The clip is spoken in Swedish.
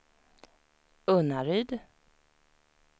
Unnaryd